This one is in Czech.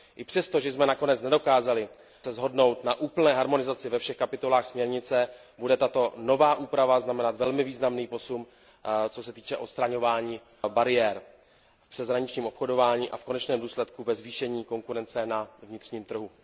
I přesto, že jsme se nakonec nedokázali shodnout na úplné harmonizaci ve všech kapitolách směrnice, bude tato nová úprava znamenat velmi významný posun, co se týče odstraňování bariér v přeshraničním obchodování a v konečném důsledku ve zvýšení konkurence na vnitřním trhu.